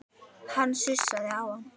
Hann sussaði á